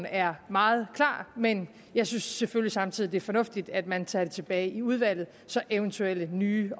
er meget klart men jeg synes selvfølgelig samtidig at det er fornuftigt at man tager forslaget tilbage i udvalget så eventuelt nye